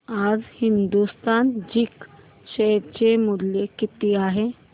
आज Hindustan Zinc share चे मूल्य किती आहे